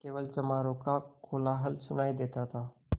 केवल चमारों का कोलाहल सुनायी देता था